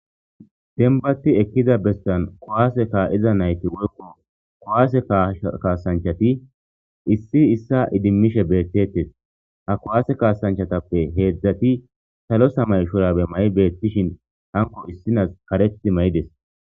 Dembbati ekkiza bestan kowaase kaa7iza nayti woykko kowaase kaasanchati issi issa idimmishe beettetes ha kowaase kaasanchatappe heedzdzati salo samay shorabe ma7i beettishin hanqo issinas karethti may7ides.